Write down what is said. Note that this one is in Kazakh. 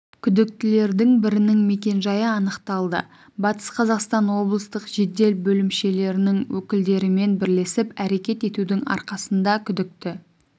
күдіктілердің бірінің мекенжайы анықталды батыс қазақстан облыстық жедел бөлімшелерінің өкілдерімен бірлесіп әрекет етудің арқасында күдікті